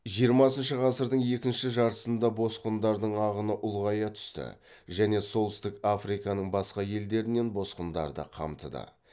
жиырмасыншы ғасырдың екінші жартысында босқындардың ағыны ұлғая түсті және солтүстік африканың басқа елдерінен босқындарды қамтыды